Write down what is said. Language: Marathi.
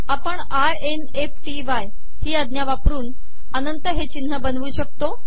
आपण I N F T Y ही आजा वापरन अनंत हे िचनह बनवू शकतो